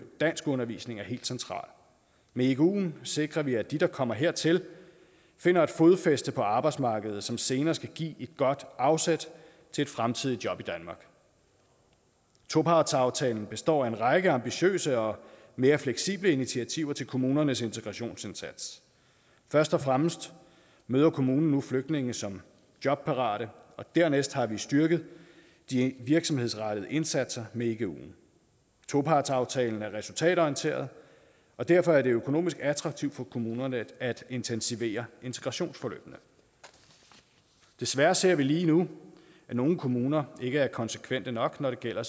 danskundervisning er helt centralt med iguen sikrer vi at de der kommer hertil finder et fodfæste på arbejdsmarkedet som senere skal give et godt afsæt til et fremtidigt job i danmark topartsaftalen består af en række ambitiøse og mere fleksible initiativer til kommunernes integrationsindsats først og fremmest møder kommunen nu flygtninge som jobparate og dernæst har vi styrket de virksomhedsrettede indsatser med iguen topartsaftalen er resultatorienteret og derfor er det økonomisk attraktivt for kommunerne at intensivere integrationsforløbene desværre ser vi lige nu at nogle kommuner ikke er konsekvente nok når det gælder